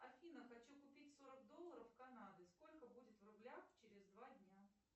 афина хочу купить сорок долларов канады сколько будет в рублях через два дня